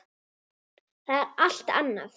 Það er allt annað.